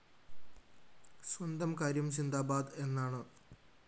സ്വന്തം കാര്യം സിന്ദാബാദ് എന്നാണ്